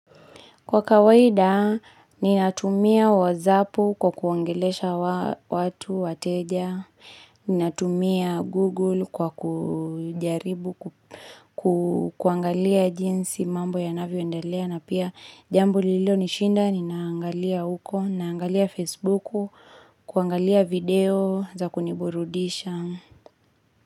Kwa kawaida, ninatumia wazapu kwa kuangelesha watu wateja, ninatumia google kwa kujaribu kuangalia jinsi mambo ya navio ndalea na pia jambu lilio nishinda, ninangalia uko, naangalia facebooku, kuangalia video za kuniburudisha.